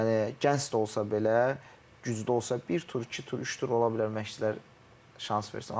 Yəni gənc də olsa belə, güclü olsa, bir tur, iki tur, üç tur ola bilər məşçilər şans versin.